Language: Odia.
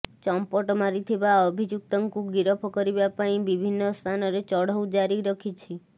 ଚମ୍ପଟ ମାରିଥିବା ଅଭିଯୁକ୍ତଙ୍କୁ ଗିରଫ କରିବା ପାଇଁ ବିଭିନ୍ନ ସ୍ଥାନରେ ଚଢ଼ଉ ଜାରି ରଖିଛି